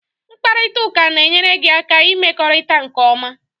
Mkparịta ụka na-enyere gị aka ịmekọrịta nke ọma